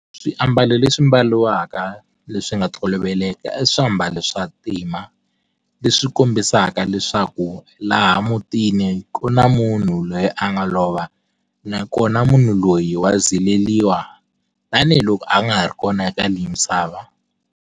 Swiambalo leswi mbaliwaka leswinga toloveleka i swiambalo swa ntima leswi kombisaka leswaku laha mutini ku na munhu loyi a nga lova nakona munhu loyi wa zileriwa tanihiloko a nga ha ri kona eka leyi misava.